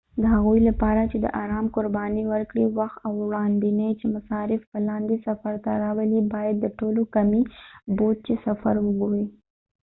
د هغوي لپاره چې دارام قربانی ورکړي وخت او وړاندوينه چې مصارف به لاندې صفر ته راولی باید د ټولو کمی بودچې سفر وګوری